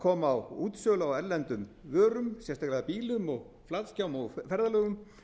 kom á útsölu á erlendum vörum sérstaklega bílum flatskjám og ferðalögum